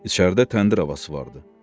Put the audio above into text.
İçəridə təndir havası vardı.